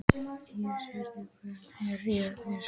Ísgerður, hvað er jörðin stór?